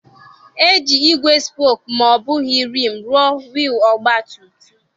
E ji ígwè spooku ma ọ bụghị rim rụọ wiil ọgba tum tum